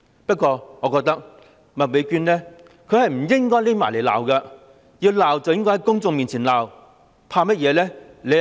不過，我認為麥美娟議員不應躲在背後罵她，要罵便在公眾面前罵，有甚麼好怕？